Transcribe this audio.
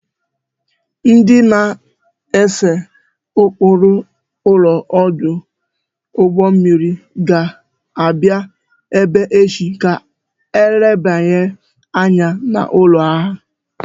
Ndị na-ese ụkpụrụ ụlọ ọdụ ụgbọ mmiri ga-abịa ebe a echi ka ha lebanye anya n'ụlọ a